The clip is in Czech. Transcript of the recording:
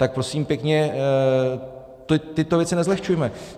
Tak prosím pěkně, tyto věci nezlehčujme.